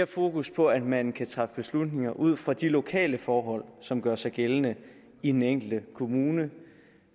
fokus på at man kan træffe beslutninger ud fra de lokale forhold som gør sig gældende i den enkelte kommune